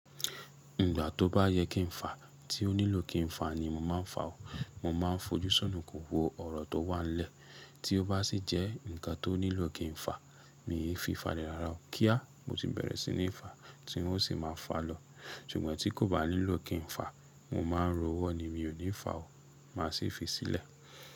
Ìgbà tó bá yẹ kí n fà, tí ó nílò kí n fà ni mo máa ń fà ó. Mo máa ń fojú sunùkun wo ọ̀rọ̀ tó wà nílẹ̀. Tí ó bá sì jẹ́ ǹkan tó nílò kí n fà, mii fi fàlẹ̀ rara o. Kí á, mo ti bẹ̀rẹ̀ sí ní fà á, tí n ó sì máa fà lọ. Ṣùgbọ́n tí kò bá nílò kí n fà, mo máa ń ro ọwọ́ ni mi ò ní fà o, màá sì fi í sílẹ̀.